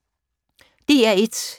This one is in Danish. DR1